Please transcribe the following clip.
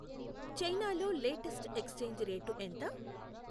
China లో latest exchange rate ఎంత